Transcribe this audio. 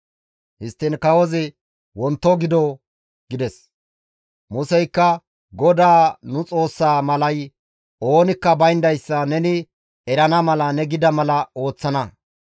Histtiin kawozi, «Wonto gido» gides. Museykka, «GODAA nu Xoossa malay oonikka bayndayssa neni erana mala ne gida mala ooththana.